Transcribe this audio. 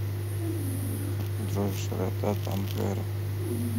джой широта тампере